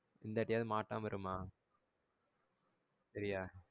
இந்த வட்டியாவது மாட்டமா இருமா சரியா?